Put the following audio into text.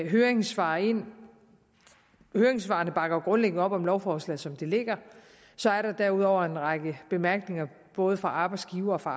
høringssvar ind høringssvarene bakker jo grundlæggende op om lovforslaget som det ligger så er der derudover en række bemærkninger både fra arbejdsgivers og